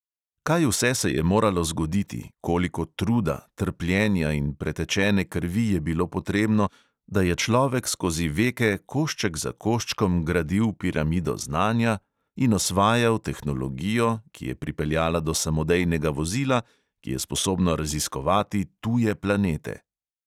Kaj vse se je moralo zgoditi, koliko truda, trpljenja in pretečene krvi je bilo potrebno, da je človek skozi veke košček za koščkom gradil piramido znanja in osvajal tehnologijo, ki je pripeljala do samodejnega vozila, ki je sposobno raziskovati tuje planete?